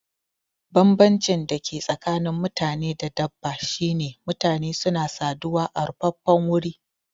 Banbancin da ke tsakanin mutane da dabba shine mutane suna saduwa a rufaffen wuri